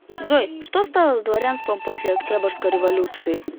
джой что стало с дворянством после октябрьской революции